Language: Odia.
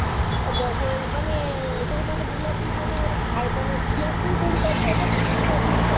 ଏ ଜାଗା ମାନେ ସବୁ ମାନେ ବୁଲାବୁଲି ମାନେ ଗୋଟେ ମାନେ ଖିଆଖିଇ କଉଠି କରି ହବ ନା କିଛି ସେମିତି